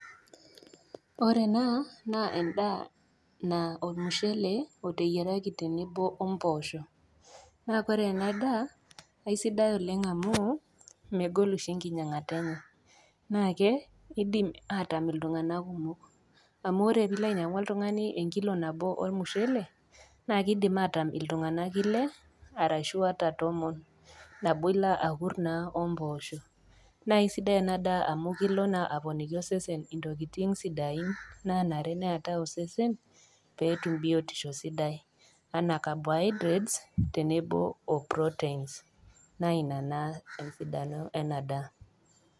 Ore ena na endaa ornushele oteyieraki tenebo ompoosho na ore enadaa kesidai oleng amu megol oshi enkinyangata enye na keidim atangam ltunganak kumok amu ore pilo ainepu oltungani enkilo nabo ormushele nakidim atangam ltunganak ile arashu ata tumon na kesidiaienadaa amu kelo na aponaa osesen ntokitin sidain nanare petum osesen petum biotisho sidai ana carbohydrates tenebo o proteins na ina na esidano enadaa.